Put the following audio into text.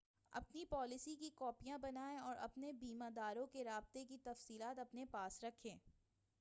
اپنی پالیسی کی کاپیاں بنائیں اور اپنے بیمہ داروں رابطے کی تفصیلات اپنے پاس رکھیں